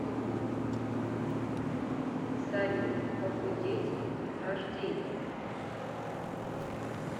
салют похудеть к дню рождения